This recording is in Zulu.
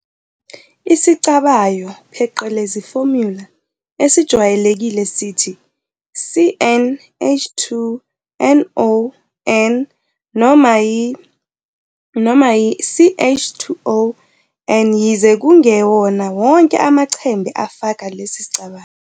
Isicabayo, pheqelezi, "formula" esijwayelekile sithi CnH2nOn, noma i- noma i-CH2O n, yize kungewona wonke amachembe afaka lesicabayo.